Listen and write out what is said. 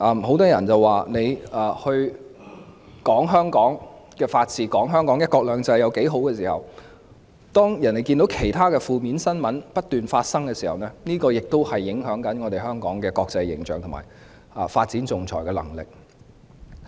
很多人認為，儘管說香港的法治及"一國兩制"有多好，但別人看到負面新聞不斷發生時，亦會影響香港的國際形象及發展仲裁的能力。